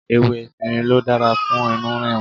Ewé efinrin ló dára fún inú rírun.